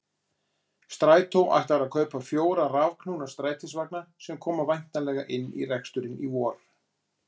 Strætó ætlar að kaupa fjóra rafknúna strætisvagna sem koma væntanlega inn í reksturinn í vor.